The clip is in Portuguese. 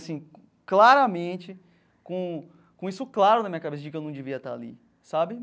Assim, claramente, com com isso claro na minha cabeça de que eu não devia estar ali, sabe?